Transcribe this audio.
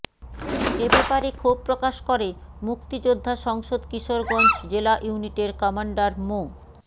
এ ব্যাপারে ক্ষোভ প্রকাশ করে মুক্তিযোদ্ধা সংসদ কিশোরগঞ্জ জেলা ইউনিটের কমান্ডার মো